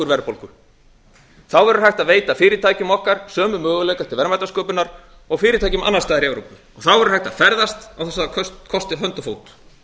þá verður hægt að veita fyrirtækjum okkar sömu möguleika til verðmætasköpunar og fyrirtækjum annars staðar í evrópu þá verður hægt að ferðast án þess að það kosti hönd og fót